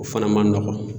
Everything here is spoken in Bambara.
O fana man nɔgɔn